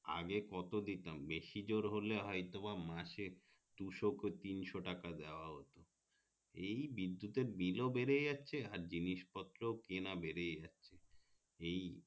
আগে কত দিতাম বেশি জোর হলে হয়তো বা মাসে দুশো কি তিনশো টাকা দেওয়া হতো এই বিদ্যুৎতের bill ও বেড়ে যাচ্ছে জিনিস পত্র কেনা বেড়ে যাচ্ছে এই